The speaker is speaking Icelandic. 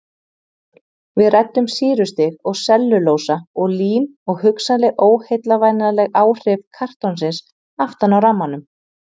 Við ræddum sýrustig og sellulósa og lím og hugsanleg óheillavænleg áhrif kartonsins aftan á rammanum.